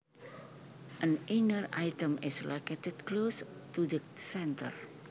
An inner item is located close to the center